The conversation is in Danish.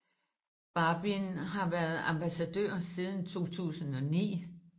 Barbin har været ambassadør siden 2009